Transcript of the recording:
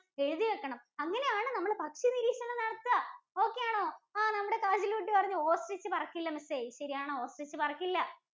എഴുതി വെക്കണം അങ്ങനെ ആണ് നമ്മൾ പക്ഷി നിരീക്ഷണം നടത്തുക. okay ആണോ നമ്മുടെ കാജല്‍ കുട്ടി പറഞ്ഞു Ostrich പറക്കില്ല. ശെരിയാണ്. Ostrich പറക്കില്ല.